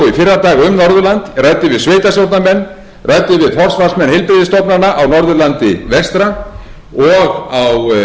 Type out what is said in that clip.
fór ég í gær og í fyrradag um norðurland og ræddi við sveitarstjórnarmenn ræddi við forsvarsmenn heilbrigðisstofnana á norðurlandi vestra og á